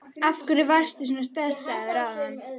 Af hverju varstu svona stressaður áðan?